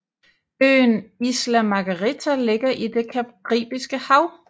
Øen Isla Margarita ligger i det Caribiske Hav